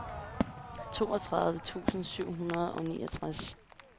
toogtredive tusind syv hundrede og niogtres